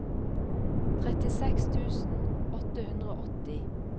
trettiseks tusen åtte hundre og åtti